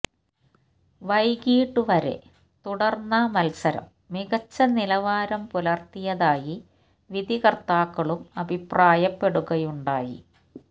വൈകീട്ട് വരെ തുടര്ന്ന മത്സരം മികച്ച നിലവാരം പുലര്ത്തിയതായി വിധികര്ത്താക്കളും അഭിപ്രായപ്പെടുകയുണ്ടായി